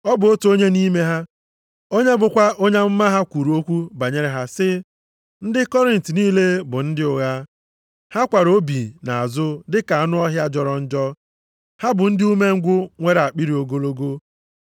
Ọ bụ otu onye nʼime ha, onye bụkwa onye amụma ha kwuru okwu banyere ha sị, “Ndị Kriit niile bụ ndị ụgha. Ha kwara obi nʼazụ dị ka anụ ọhịa jọrọ njọ. Ha bụ ndị umengwụ nwere akpịrị ogologo.”